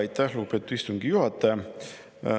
Aitäh, lugupeetud istungi juhataja!